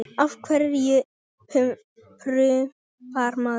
Af hverju prumpar maður?